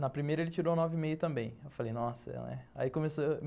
Na primeira, ele tirou nove e meio também, aí eu falei, nossa, ai começou